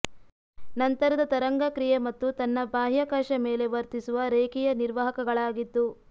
ನಂತರದ ತರಂಗ ಕ್ರಿಯೆ ಮತ್ತು ತನ್ನ ಬಾಹ್ಯಾಕಾಶ ಮೇಲೆ ವರ್ತಿಸುವ ರೇಖೀಯ ನಿರ್ವಾಹಕಗಳಾಗಿದ್ದು